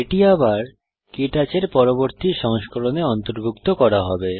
এটি আবার কে টচ এর পরবর্তী সংস্করণে অন্তর্ভুক্ত করা হবে